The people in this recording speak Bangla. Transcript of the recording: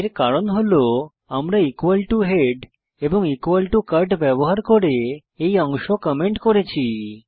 এর কারণ হল আমরা head এবং cut ব্যবহার করে এই অংশ কমেন্ট করেছি